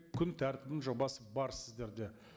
күн тәртібінің жобасы бар сіздерде